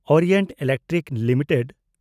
Orient Electric limited